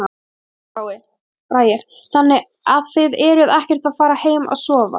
Hilmar Bragi: Þannig að þið eruð ekkert að fara heim að sofa?